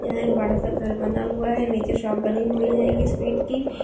ये बड़ा सा घर बना हुआ है नीच शॉप बनि हुई है स्वीट की